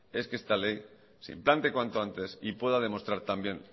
es que esta ley se implante cuanto antes y pueda demostrar también